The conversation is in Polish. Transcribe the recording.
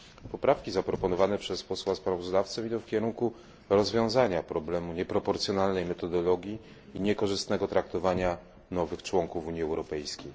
Poprawki zaproponowane przez posła sprawozdawcę idą w kierunku rozwiązania problemu nieproporcjonalnej metodologii i niekorzystnego traktowania nowych członków Unii Europejskiej.